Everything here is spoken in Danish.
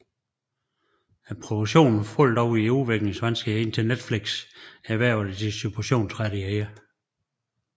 Produktionen faldt dog i udviklingsvanskeligheder indtil Netflix erhvervede distributionsrettighederne